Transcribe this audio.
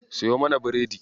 Siyo mana biredi.